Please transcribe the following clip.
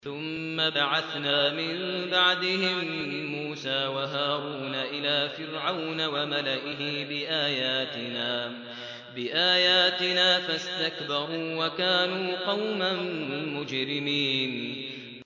ثُمَّ بَعَثْنَا مِن بَعْدِهِم مُّوسَىٰ وَهَارُونَ إِلَىٰ فِرْعَوْنَ وَمَلَئِهِ بِآيَاتِنَا فَاسْتَكْبَرُوا وَكَانُوا قَوْمًا مُّجْرِمِينَ